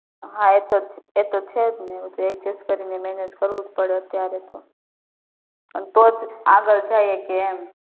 હા એ તો એ તો છે જ ને બધું adjust કરીને જ કરવું પડે અત્યારે તો અને તોજ આગળ જય હકીએ એમ